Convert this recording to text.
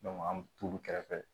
an mi t'olu kɛrɛfɛ